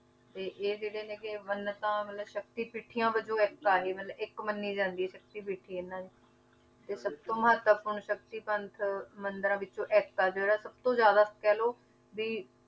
ਤੇ ਇਹ ਜਿਹੜੇ ਹੈਗੇ ਮੰਨਤਾਂ ਮਤਲਬ ਸ਼ਕਤੀ ਪੀਠੀਆਂ ਵਜੋਂ ਇੱਕ ਆ ਇਹ ਮਤਲਬ ਇੱਕ ਮੰਨੀ ਜਾਂਦੀ ਹੈ ਸ਼ਕਤੀਪੀਠੀ ਇਹਨਾਂ ਦੀ ਤੇ ਸਭ ਤੋਂ ਮਹੱਤਵਪੂਰਨ ਸ਼ਕਤੀ ਪੰਥ ਮੰਦਿਰਾਂ ਵਿੱਚੋਂ ਇੱਕ ਆ ਜਿਹੜਾ ਸਭ ਤੋਂ ਜ਼ਿਆਦਾ ਕਹਿ ਲਓ ਵੀ